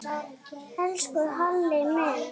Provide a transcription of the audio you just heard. Elsku Halli minn.